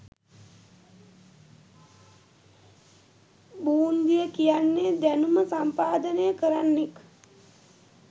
බූන්දිය කියන්නෙ දැනුම සම්පාදනය කරන්නෙක්